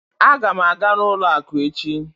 Aga m aga n'ụlọ akụ echi